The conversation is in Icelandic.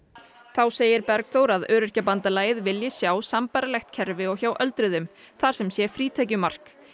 þá segir Bergþór að Öryrkjabandalagið vilji sjá sambærilegt kerfi og hjá öldruðum þar sem sé frítekjumark